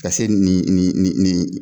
Ka se nin nin nin nin